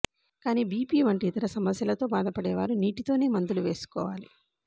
కానీ బీపీ వంటి ఇతర సమస్యలతో బాధపడేవారు నీటితోనే మందులు వేసుకోవాలి